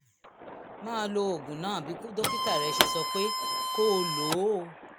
máa lo oògùn náà bí dókítà rẹ ṣe sọ pé kó o lò ó